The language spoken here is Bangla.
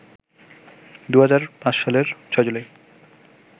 ২০০৫ সালের ৬ জুলাই